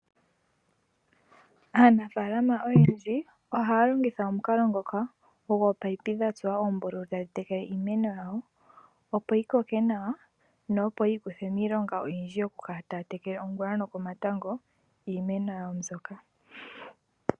Aanafaalama oyendji ohaya longitha omukalo ngoka gominino dhatsuwa oombululu tadhitekele iimeno yawo opo yikoke nawa, na opo yiikuthe miilonga oyindji yokukala taya tekele ongula nokomatango iimeno yawo mbyoka.